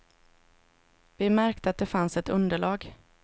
Vi märkte att det fanns ett underlag.